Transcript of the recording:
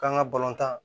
K'an ka balontan